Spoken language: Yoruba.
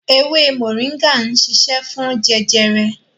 Ewé moringa ń ṣiṣẹ́ fún jẹjẹrẹ